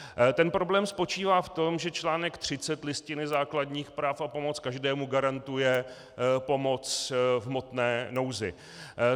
Ten problém spočívá v tom, že článek 30 Listiny základních práv a svobod každému garantuje pomoc v hmotné nouzi.